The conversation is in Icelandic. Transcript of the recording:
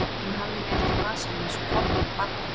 Hann hafði mig ekki í vasanum eins og Kobba og Badda!